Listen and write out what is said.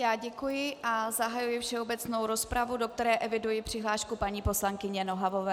Já děkuji a zahajuji všeobecnou rozpravu, do které eviduji přihlášku paní poslankyně Nohavové.